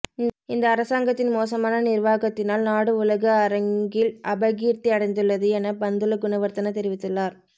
இந்த அரசாங்கத்தின் மோசமான நிர்வாகத்தினால் நாடு உலக அரங்கில் அபகீர்த்தியடைந்துள்ளது என பந்துல குணவர்தன தெரிவித்துள்ளார்